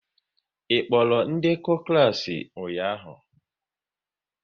Ị kpọrọ ndekọ klas ụnyaahụ?